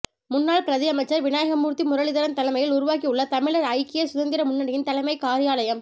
முன்னாள் பிரதியமைச்சர் விநாயகமூர்த்தி முரளிதரன் தலைமையில் உருவாகியுள்ள தமிழர் ஐக்கிய சுதந்திர முன்னணியின் தலைமைக் காரியாலயம்